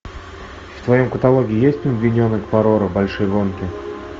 в твоем каталоге есть пингвиненок парора большие гонки